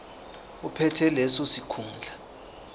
ophethe leso sikhundla